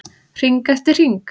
Hring eftir hring.